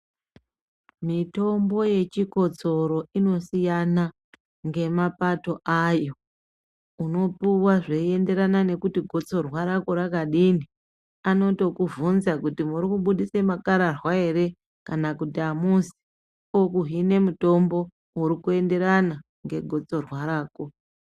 Mitombo yechikotsoro inosiyana inosiyana nemapato ayo unopuwa zveyienderana nekuti gotsorwa rako rakadini vanoto kubvunza kuti muri kubudisa makarwarwa here kana kuti hamuzi okuhina mutombo urikuenderana negotsorwa rako.